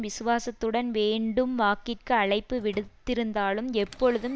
விசுவாசத்துடன் வேண்டும் வாக்கிற்கு அழைப்பு விடுத்திருந்தாலும் எப்பொழுதும்